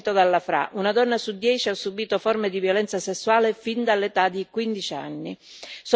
Cito solo un dato, fornito dalla FRA una donna su dieci ha subito forme di violenza sessuale fin dall'età di quindici anni.